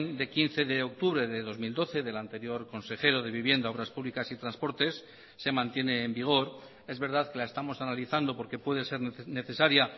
de quince de octubre de dos mil doce del anterior consejero de vivienda obras públicas y transportes se mantiene en vigor es verdad que la estamos analizando porque puede ser necesaria